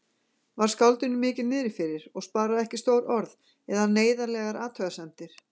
Var skáldinu mikið niðrifyrir og sparaði ekki stór orð eða neyðarlegar athugasemdir.